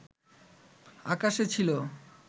আকাশে ছিল